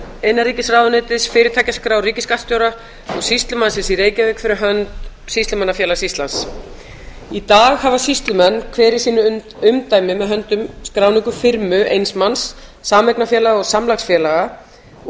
innanríkisráðuneytis fyrirtækjaskrá ríkisskattstjóra og sýslumannsins í reykjavík á sýslumannafélags íslands í dag hafa sýslumenn hver í sínu umdæmi með höndum skráningu firmu eins manns sameignarfélaga og samlagsfélaga og